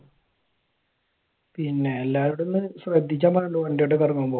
പിന്നെ എല്ലാവരോടും ഒന്ന് ശ്രദ്ധിക്കാൻ പറ വണ്ടിയായിട്ടൊക്കെ ഇറങ്ങുമ്പോൾ.